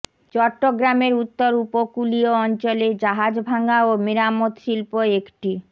চট্টগ্রামের উত্তর উপকূলীয় অঞ্চলে জাহাজ ভাঙা ও মেরামত শিল্প একটি